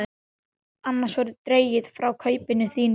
Annars verður dregið frá kaupinu þínu.